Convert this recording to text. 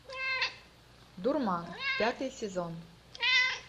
дурман пятый сезон